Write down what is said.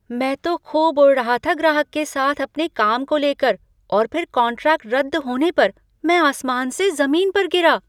मैं तो खूब उड़ रहा था ग्राहक के साथ अपने काम को लेकर और फिर कॉन्ट्रैक्ट रद्द होने पर मैं आसमान से ज़मीन पर गिरा।